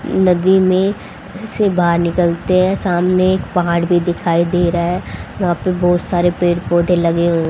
नदी में जिसे बाहर निकलते है सामने एक पहाड़ भी दिखाई दे रहा है वहाँ पे बहुत सारे पेड़ पौधे लगे हू--